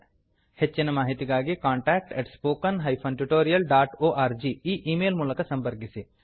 ಹೆಚ್ಚಿನ ಮಾಹಿತಿಗಾಗಿ contact at spoken hyphen tutorial dot org ಎಂಬ ಈ ಮೇಲ್ ಮೂಲಕ ಸಂಪರ್ಕಿಸಿ